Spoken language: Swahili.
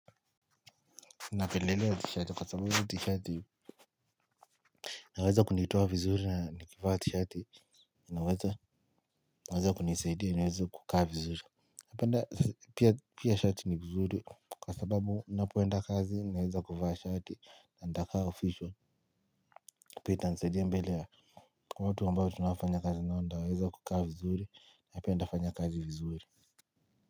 Napendelea tishati kwa sababu ni tishati inaweza kunitoa vizuri na nikivaa tishati naweza kuweza kunisaidia niweze kukaa vizuri napend pia shati ni vizuri kwa sababu ninapoenda kazi naeza kuvaa shati nitakaa official kwa hivyo itanisaidia mbele ya watu ambao tunaonfanya kazi nao nitaweza kufanya kazi vizuri na pia nitafanya kazi vizuri.